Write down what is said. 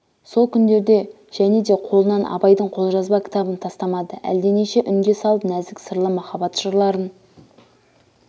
сол күндерде және де қолынан абайдың қолжазба кітабын тастамады әлденеше үнге салып нәзік сырлы махаббат жырларын